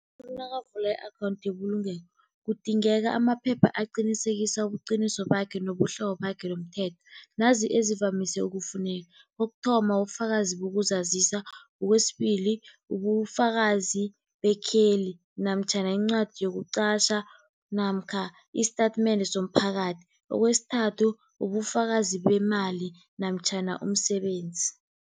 Umuntu nakavula i-akhawunthu yebulungelo kudingeka amaphepha aqinisekisa ubuqiniso bakhe nobuhlobo bakhe nomthetho, nanzi ezivamise ukufuneka. Kokuthoma, bufakazi bokuzazisa. Kwesibili, bufakazi bekheli namtjhana incwadi yokuqatjha namkha isitatimende somphakathi. Kwesithathu, bufakazi bemali namtjhana umsebenzi.